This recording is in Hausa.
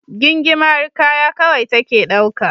Gingimari kaya kawai take dauka.